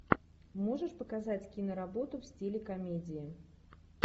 можешь показать киноработу в стиле комедии